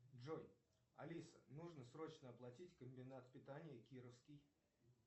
джой алиса нужно срочно оплатить комбинат питания кировский